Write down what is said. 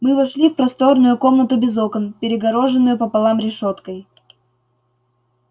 мы вошли в просторную комнату без окон перегороженную пополам решёткой